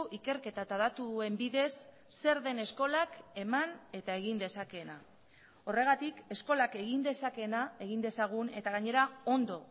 ikerketa eta datuen bidez zer den eskolak eman eta egin dezakeena horregatik eskolak egin dezakeena egin dezagun eta gainera ondo